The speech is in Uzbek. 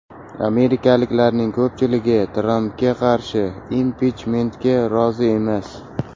Amerikaliklarning ko‘pchiligi Trampga qarshi impichmentga rozi emas.